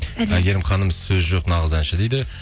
әйгерім ханым сөз жоқ нағыз әнші дейді